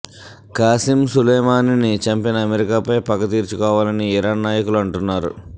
కాసిం సులేమానీని చంపిన అమెరికాపై పగ తీర్చుకోవాలని ఇరాన్ నాయకులు అంటున్నారు